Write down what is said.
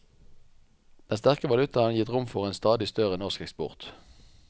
Den sterke valutaen har gitt rom for en stadig større norsk eksport.